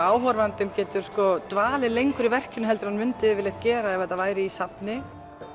áhorfandinn getur dvalið lengur í verkinu en hann myndi gera ef það væri í safni